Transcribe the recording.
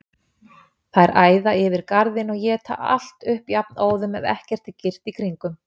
Þær æða yfir garðinn og éta allt upp jafnóðum, ef ekki er girt í kringum.